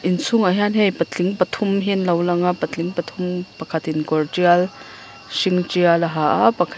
inchhungah hian hei patling pathum hi anlo lang a patling pathum pakhatin kawr tial hring tial a ha a pakhat--